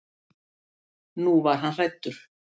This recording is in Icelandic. Nú var hann hræddur.